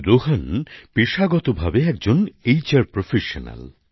রোহন পেশাগতভাবে একজন HR professional